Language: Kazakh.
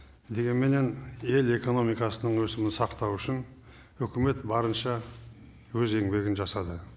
дегенменен ел экономикасының өсімін сақтау үшін үкімет барынша өз еңбегін жасады